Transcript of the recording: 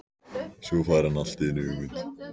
Svo fær hann allt í einu hugmynd.